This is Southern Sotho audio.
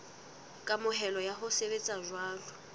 kamohelo ya ho sebetsa jwalo